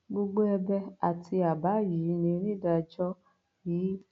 gbogbo ẹbẹ àti àbá yìí ni onídàájọ i